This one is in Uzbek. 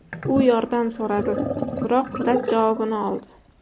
U yordam so‘radi, biroq rad javobini oldi.